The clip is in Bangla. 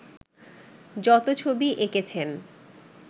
যত ছবি এঁকেছেন